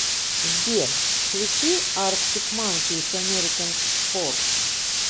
сбер включи арктик манкис американ спортс